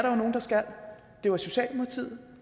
jo nogle der skal det var socialdemokratiet